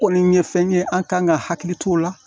Kɔni ye fɛn ye an kan ka hakili t'o la